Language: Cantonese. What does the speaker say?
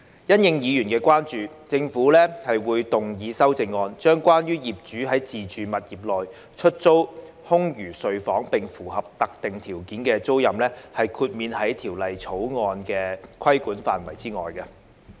因應委員的關注，政府會動議修正案，將關於業主在自住物業內出租空餘睡房並符合特定條件的租賃，豁免於《條例草案》規管範圍之外。